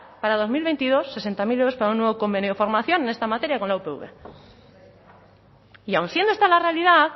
para dos mil veintidós sesenta mil euros para un nuevo convenio de formación en esta materia con la upv y aun siendo esta la realidad